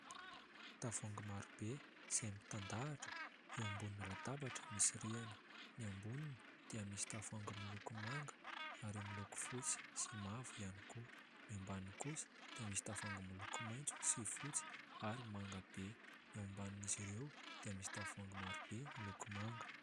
Tavoahangy marobe izay mitandahatra eo ambonin'ny latabatra misy rihana. Ny amboniny dia misy tavoahangy miloko manga, ary miloko fotsy sy mavo ihany koa. Ny ambaniny kosa dia misy tavoahangy miloko maitso, sy fotsy ary manga be. Ny eo ambanin'izy ireo dia misy tavoahangy marobe miloko manga.